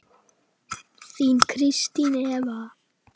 Þín Kristín Eva.